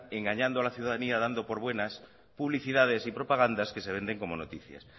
engañando a la ciudadanía dando por buenas publicidades y propagandas que se venden como noticias